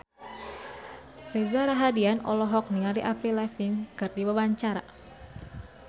Reza Rahardian olohok ningali Avril Lavigne keur diwawancara